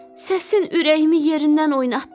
Səsin ürəyimi yerindən oynatdı.